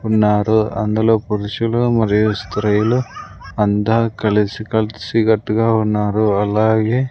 ఉన్నారు అందులో పురుషులు మరియు స్త్రీలు అంతా కలిసి కలిసికట్టుగా ఉన్నారు అలాగే--